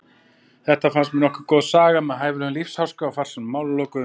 Þetta fannst mér nokkuð góð saga með hæfilegum lífsháska og farsælum málalokum.